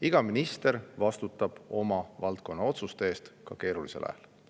Iga minister vastutab oma valdkonna otsuste eest ka keerulisel ajal.